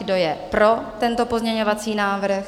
Kdo je pro tento pozměňovací návrh?